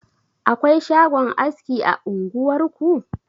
Akwai shagon aski a unguwar ku?